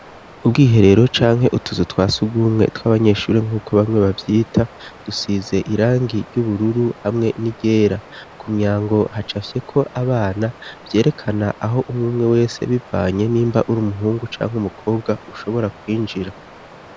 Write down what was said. Ubwoihe rero canke utuzu twasi gumwe tw'abanyeshuri nk'uko bamwe bavyita dusize irangi ry'ubururu hamwe n'igera ku myango haca afyeko abana vyerekana aho umwumwe wese bivanye n'imba uri umuhungu canke umukobwa ushobora kwinjira.